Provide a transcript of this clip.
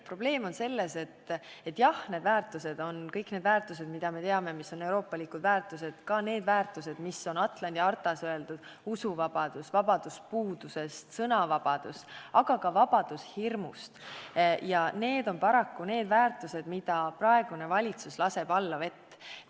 Probleem on selles, et kõik need väärtused, mida me peame euroopalikeks väärtusteks ja mis on ka Atlandi hartas kirjas – usuvabadus, vabadus puudusest, sõnavabadus, aga ka vabadus hirmust – on paraku väärtused, mida praegune valitsus laseb allavett.